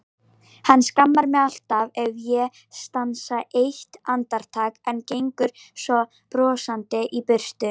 Hann skammar mig alltaf ef ég stansa eitt andartak, en gengur svo brosandi í burtu.